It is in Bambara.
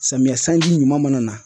Samiyɛ sanji ɲuman mana na